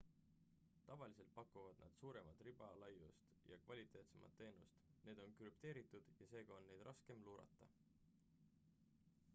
tavaliselt pakuvad nad suuremat ribalaiust ja kvaliteetsemat teenust need on krüpteeritud ja seega on neid raskem luurata